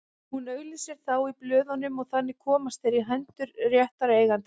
Hún auglýsir þá í blöðunum og þannig komast þeir í hendur réttra eigenda.